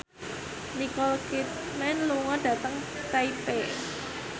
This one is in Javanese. Nicole Kidman lunga dhateng Taipei